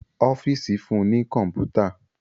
Ọ́fíìsì fún ní kọ̀mpútà